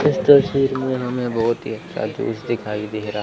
इस तस्वीर में हमें बहुत ही अच्छा जूस दिखाई दे रहा--